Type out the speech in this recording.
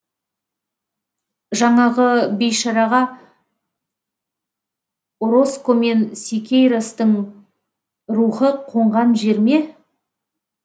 жанағы бейшараға ороскомен сикейростың рухы қонған жер ме